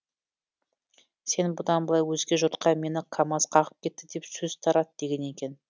сен бұдан былай өзге жұртқа мені камаз қағып кетті деп сөз тарат деген екен